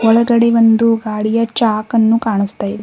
ಒಳಗಡೆ ಒಂದು ಗಾಡಿಯ ಚಾಕ್ ಅನ್ನು ಕಾಣಿಸ್ತಾ ಇದ್--